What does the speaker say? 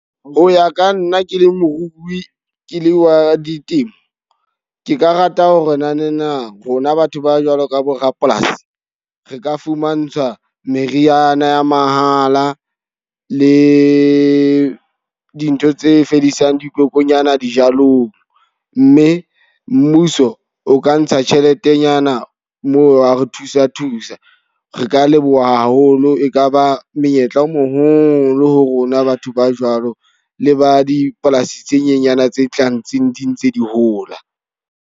Ho ya ka nna ke le morui, ke le wa di temo. Ke ka rata hore nanana rona batho ba jwalo ka bo rapolasi. Re ka fumantshwa meriana ya mahala le dintho tse fedisang dikokonyana dijalong. Mme mmuso o ka ntsha tjheletenyana moo wa re thusa thusa. Re ka leboha haholo e ka ba monyetla o moholo ho rona batho ba jwalo. Le ba dipolasi tse nyenyana tse tlang tseno di ntse di hola.